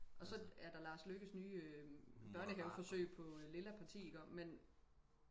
og så er der Lars Løkkes nye børnehave forsøg på lilla parti ikke også men